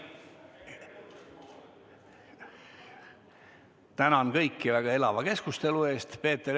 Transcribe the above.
Tänan kõiki väga elava keskustelu eest!